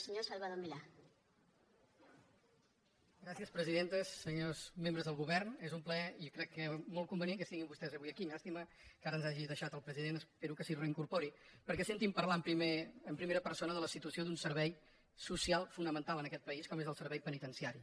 senyors membres del govern és un plaer i crec que molt convenient que estiguin vostès avui aquí llàstima que ara ens hagi deixat el president espero que s’hi reincorpori perquè senti parlar en pri·mera persona de la situació d’un servei social fonamen·tal en aquest país com és el servei penitenciari